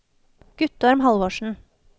Guttorm Halvorsen